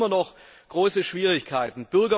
Es gibt immer noch große Schwierigkeiten.